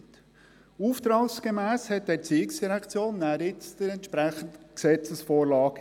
Die ERZ erarbeitete dann gemäss Auftrag die entsprechende Gesetzesvorlage.